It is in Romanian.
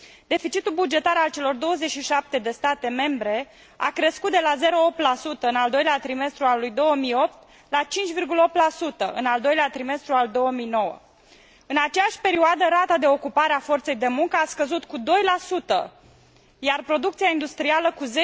Deficitul bugetar al celor 27 de state membre a crescut de la 0,8 în al doilea trimestru al lui 2008, la 5,8 în al doilea trimestru al lui 2009. În aceeași perioadă, rata de ocupare a forței de muncă a scăzut cu 2 iar producția industrială cu